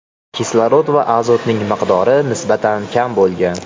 Kislorod va azotning miqdori nisbatan kam bo‘lgan.